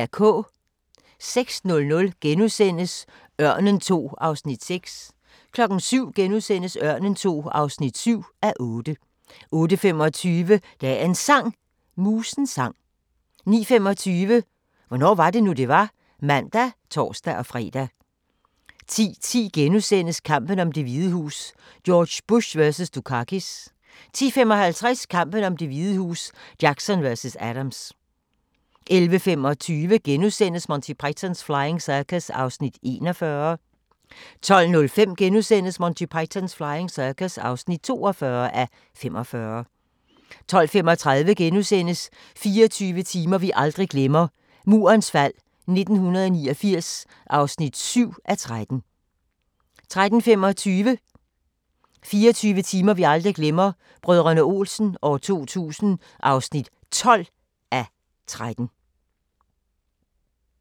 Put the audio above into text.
06:00: Ørnen II (6:8)* 07:00: Ørnen II (7:8)* 08:25: Dagens Sang: Musens sang 09:25: Hvornår var det nu, det var? (man og tor-fre) 10:10: Kampen om Det Hvide Hus: George Bush vs. Dukakis * 10:55: Kampen om Det Hvide Hus: Jackson vs. Adams 11:35: Monty Python's Flying Circus (41:45)* 12:05: Monty Python's Flying Circus (42:45)* 12:35: 24 timer vi aldrig glemmer – Murens fald 1989 (7:13)* 13:25: 24 timer vi aldrig glemmer – Brdr. Olsen 2000 (12:13)